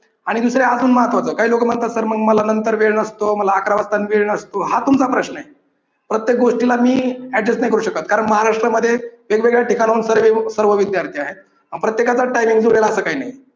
आणि दुसरे अजून महत्त्वाच काही लोक म्हणतात तर मग मला नंतर वेळ नसतो, मला अकरा वाजता वेळ नसतो, हा तुमचा प्रश्न आहे प्रत्येक गोष्टीला मी adjust नाही करू शकत कारण महाराष्ट्रामध्ये वेगवेगळ्या ठिकाणाहून सर्वे सर्व विद्यार्थी आहेत. आणि प्रत्येकाचाच timing जुळेल असं काही नाही.